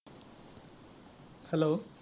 hello